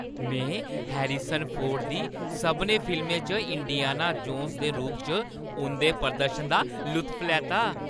में Harrison Ford दी सभनें फिल्में च इंडियाना जोन्स दे रूप च उंʼदे प्रदर्शन दा लुत्फ लैता।